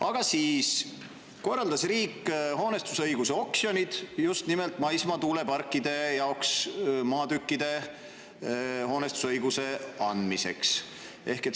Aga siis korraldas riik hoonestusõiguse oksjonid just nimelt maismaa tuuleparkide jaoks, et maatükkidele hoonestusõigust anda.